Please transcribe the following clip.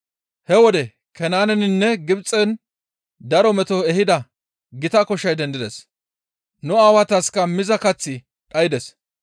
«He wode Kanaaneninne Gibxen daro meto ehida gita koshay dendides. Nu aawataska miza kaththi dhaydes.